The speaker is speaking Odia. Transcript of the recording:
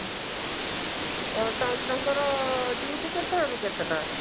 ତାହାଲେ ତାଙ୍କର duty କେତେଟା ରୁ କେତେଟା